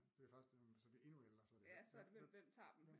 Det først når man så bliver endnu ældre så er det hvem hvem